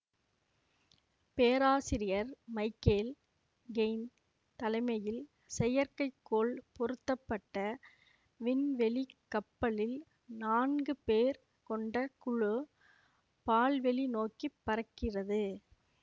பேராசிரியர் Michael Kane தலைமையில் செயற்கைக்கோள் பொருத்த பட்ட விண்வெளி கப்பலில் நான்கு பேர் கொண்ட குழு பால்வெளி நோக்கி பறக்கிறது